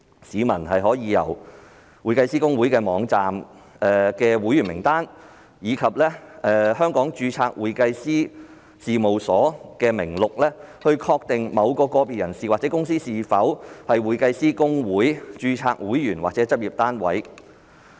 市民可從公會網站的會員名單及香港註冊會計師事務所名錄，確定某個別人士或公司是否公會註冊會員或執業單位。